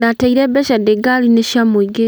Ndateire mbeca ndĩ ngari-inĩ cia mũingĩ.